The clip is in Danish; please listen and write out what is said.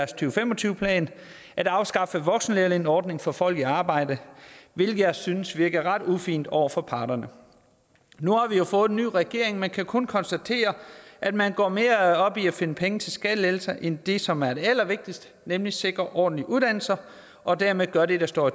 og fem og tyve plan at afskaffe voksenlærlingeordningen for folk i arbejde hvilket jeg synes virker ret ufint over for parterne nu har vi jo fået en ny regering men kan kun konstatere at man går mere op i at finde penge til skattelettelser end det som er det allervigtigste nemlig at sikre ordentlige uddannelser og dermed gøre det der står